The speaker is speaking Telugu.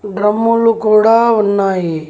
డ్రమ్ములు కూడా ఉన్నాయి.